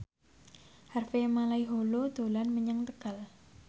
Harvey Malaiholo dolan menyang Tegal